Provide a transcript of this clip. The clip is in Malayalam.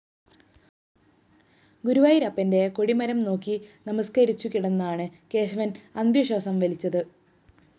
ഗുരുവായൂരപ്പന്റെ കൊടിമരം നോക്കി നമസ്‌ക്കരിച്ചു കിടന്നാണ് കേശവന്‍ അന്ത്യശ്വാസം വലിച്ചത്